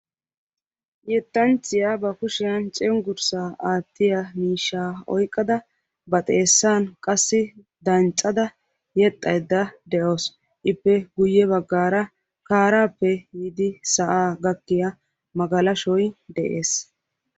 Yettanchchiya ba kushshiyan cenggurssaa aattiya miishshaa oyqqada ba xeessan qassi danccada yexxaydda de'awusu, ippe guye baggaara kaarappe biidi sa'aa gakkiya magalashoy de'ees.